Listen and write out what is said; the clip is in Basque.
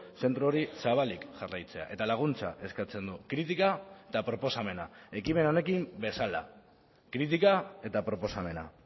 zentro hori zabalik jarraitzea eta laguntza eskatzen du kritika eta proposamena ekimen honekin bezala kritika eta proposamena